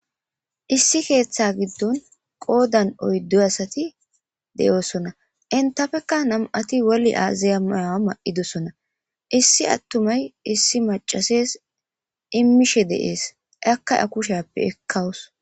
Issi keeththa giddon qoodan oyddu asati de'oosona. Entapekka nam'ati woli aziya mayaa mayidosona. Issi attumay issi macases immishe de'es. Akka a kusheeappe ekkawus.